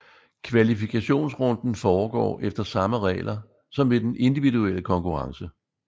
Kvalifikationsrunden foregår efter samme regler som ved den individuelle konkurrence